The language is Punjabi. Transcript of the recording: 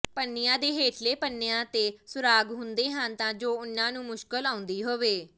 ਪੰਨਿਆਂ ਦੇ ਹੇਠਲੇ ਪੰਨਿਆਂ ਤੇ ਸੁਰਾਗ ਹੁੰਦੇ ਹਨ ਤਾਂ ਜੋ ਉਨ੍ਹਾਂ ਨੂੰ ਮੁਸ਼ਕਲ ਆਉਂਦੀ ਹੋਵੇ